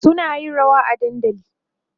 suna yin rawa a dandali